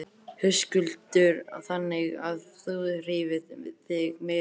Höskuldur: Þannig að þú hreyfir þig meira?